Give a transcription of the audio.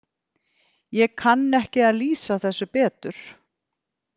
Ég kann ekki að lýsa þessu betur.